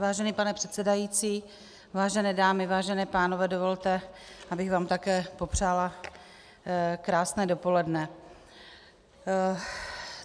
Vážený pane předsedající, vážené dámy, vážení pánové, dovolte, abych vám také popřála krásné dopoledne.